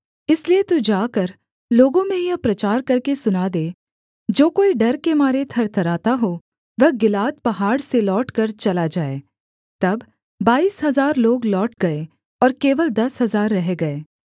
इसलिए तू जाकर लोगों में यह प्रचार करके सुना दे जो कोई डर के मारे थरथराता हो वह गिलाद पहाड़ से लौटकर चला जाए तब बाईस हजार लोग लौट गए और केवल दस हजार रह गए